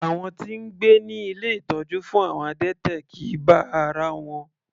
Àwọn tí ń gbé ní ilé ìtọ́jú fún àwọn adẹ́tẹ̀ kìí bá ara wọn.